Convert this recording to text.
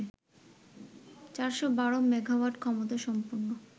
৪১২ megawatt ক্ষমতাসম্পন্ন